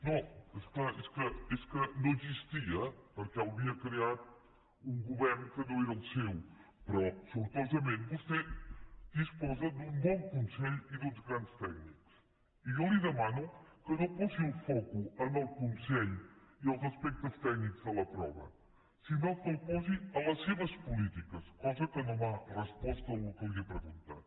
no és clar és que no existia perquè l’havia creat un govern que no era el seu però sortosament vostè disposa d’un bon consell i d’uns grans tècnics i jo li demano que no posi el focus en el consell i als aspectes tècnics de la prova sinó que el posi a les seves polítiques cosa que no m’ha respost al que li he preguntat